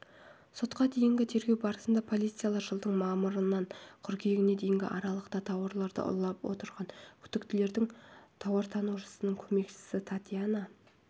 сотқа дейінгі тергеу барысында полициялар жылдың мамырынан қыркүйегіне дейінгі аралықта тауарларды ұрлап отырған күдіктілердің тауартанушының көмекшісі татьяна